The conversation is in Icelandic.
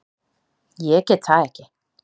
Ég get það ekki!